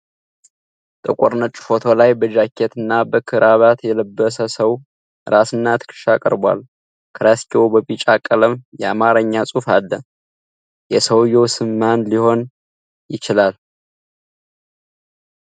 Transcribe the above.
ጥቁር ነጭ ፎቶ ላይ በጃኬትና በክራባት የለበሰ ሰው ራስና ትከሻ ቀርቧል። ከራስጌው በቢጫ ቀለም የአማርኛ ጽሑፍ አለ። የሰውየው ስም ማን ሊሆን ይችላል?